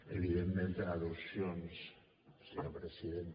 evidentment per al·lusions senyor president